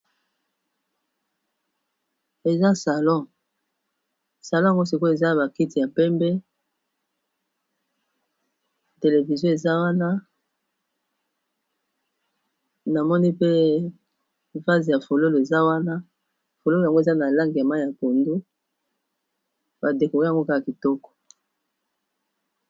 Eza salon salon yango sikoyo eza a bakiti ya pembe televizio eza wana namoni pe vase ya fololo eza wana fololo yango eza na lange ya ma ya pondo badeko yango kaka kitoko